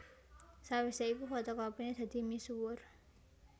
Sawise iku fotokopine dadi misuwur